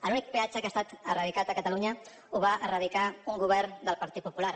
l’únic peatge que ha estat eradicat a catalunya el va eradicar un govern del partit popular